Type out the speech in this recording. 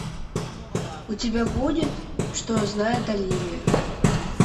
у тебя будет что знает оливия